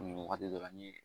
Nin wagati dɔ la ni